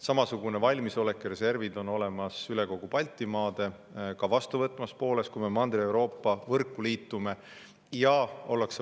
Samasugune valmisolek ja reservid on olemas üle kogu Baltimaade, ka meid vastu võtvas pooles, kui me Mandri-Euroopa võrguga liitume.